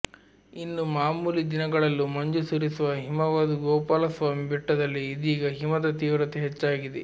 ಇನ್ನು ಮಾಮೂಲಿ ದಿನಗಳಲ್ಲೂ ಮಂಜು ಸುರಿಸುವ ಹಿಮವದ್ ಗೋಪಾಲಸ್ವಾಮಿ ಬೆಟ್ಟದಲ್ಲಿ ಇದೀಗ ಹಿಮದ ತೀವ್ರತೆ ಹೆಚ್ಚಾಗಿದೆ